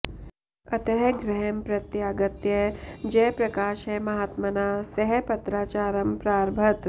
अतः गृहं प्रत्यागत्य जयप्रकाशः महात्मना सह पत्राचारं प्रारभत